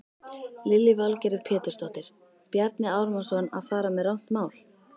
Lillý Valgerður Pétursdóttir: Bjarni Ármannsson að fara með rangt mál?